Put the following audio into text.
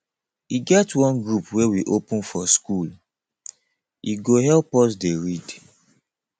e get one group wey we open for schoole go help us dey read